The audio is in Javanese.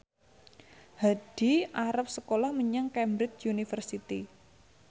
Hadi arep sekolah menyang Cambridge University